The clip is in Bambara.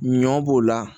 Ɲɔ b'o la